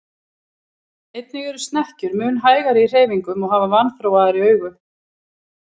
Einnig eru snekkjur mun hægari í hreyfingum og hafa vanþróaðri augu.